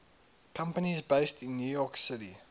companies based in new york city